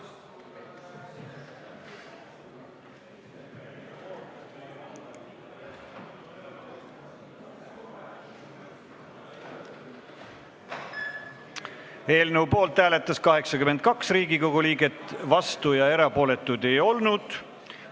Hääletustulemused Eelnõu poolt hääletas 82 Riigikogu liiget, vastuolijaid ega erapooletuid ei olnud.